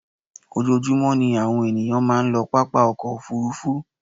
Ojoojúmọ́ ní àwọn ènìyàn máa ń lọ pápá ọkọ̀ òfuurufú